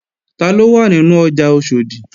Taló wà nínú ọjà Oṣòdì?